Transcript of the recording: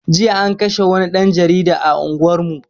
Jiya an kashe wani ɗan jarida a unguwar mu